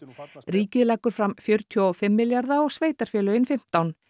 ríkið leggur fram fjörutíu og fimm milljarða og sveitarfélögin fimmtán